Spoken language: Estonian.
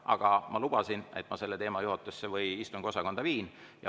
Aga ma lubasin, et ma selle teema juhatusse või istungiosakonda viin.